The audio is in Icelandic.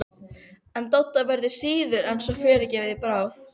En Dodda verður síður en svo fyrirgefið í bráð!